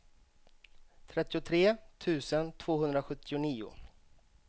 trettiotre tusen tvåhundrasjuttionio